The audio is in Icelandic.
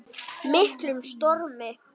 miklum stormi.